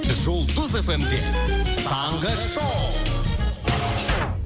жұлдыз эф эм де таңғы шоу